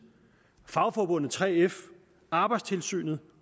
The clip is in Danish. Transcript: fagforbundet 3f arbejdstilsynet